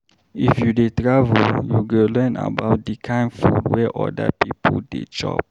If you dey travel, you go learn about di kain food wey oda pipo dey chop.